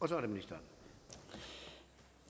samme minister